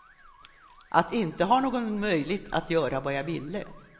Att inte ha någon möjligt att göra vad jag ville.